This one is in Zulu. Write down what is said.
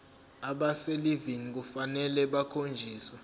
abaselivini kufanele bakhonjiswe